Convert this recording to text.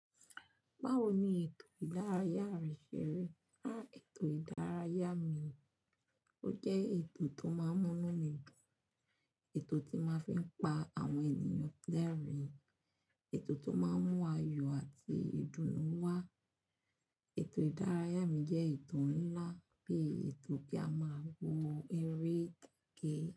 Báwo ni ètò ìdárayá rẹ ṣe rí? Háà, ètò ìdárayá mi, ó jẹ́ ètò tó máa ń mú mí dùn, ètò tí n màá fi ń pa àwọn ènìyàn lẹ́rìn-ín, ètò tó máa ń mú ayọ̀ àti ìdùnnú wá. Ètò ìdárayá mi jẹ́ eto ńlá bii ètò kí a máa wo eré gẹ́gẹ́